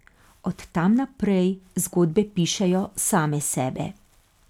Od tam naprej zgodbe pišejo same sebe.